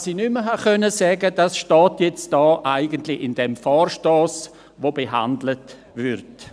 Was ich nicht mehr sagen konnte, steht jetzt eigentlich in diesem Vorstoss, der behandelt wird.